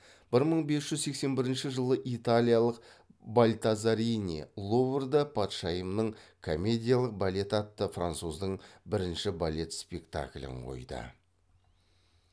бір мың бес жүз сексен бірінші жылы италиялық бальтазарини луврда патшайымның комедиялық балеті атты француздың бірінші балет спектаклін қойды